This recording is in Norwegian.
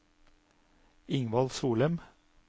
Ingvald Solem